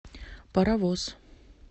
паровоз